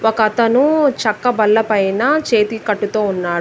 ఒకతను చెక్క బల్లపైన చేతి కట్టుతో ఉన్నాడు.